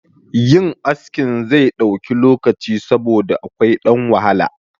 Yin askin zai ɗauki lokaci saboda akwai ɗan wahala